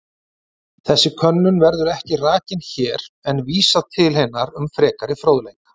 Þessi könnun verður ekki rakin hér en vísað til hennar um frekari fróðleik.